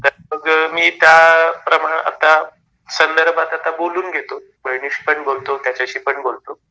तर मग मी त्या प्रमाणे आता संदर्भात आता बोलून घेतो. बहिणीशी पण बोलतो त्याच्याशी पण बोलतो.